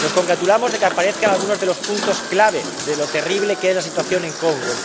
Nos congratulamos de que aparezcan algunos de los puntos clave de lo terrible que es la situación en el Congo.